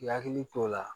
I hakili t'o la